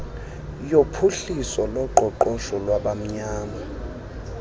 yophuhliso loqoqosho lwabamnyama